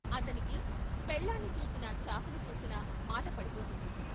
అతనికి పెళ్ళాన్ని చూసినా, చాకుని చూసినా మాటపడిపోతుంది.